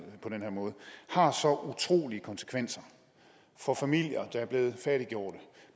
på den her måde har så utrolige konsekvenser for familier der er blevet fattiggjorte